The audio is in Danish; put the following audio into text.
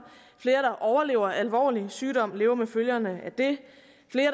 flere der overlever alvorlige sygdomme og lever med følgerne af det